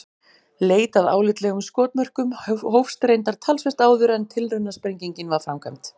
Leit að álitlegum skotmörkum hófst reyndar talsvert áður en tilraunasprengingin var framkvæmd.